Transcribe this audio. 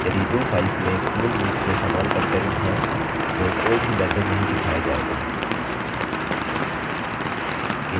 यदि दो files में पूर्ण रूप से समान कंटेंट है तो कोई भी message नहीं दिखाया जायेगा